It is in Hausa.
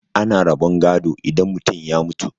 ana rabon gado idan mutum ya mutu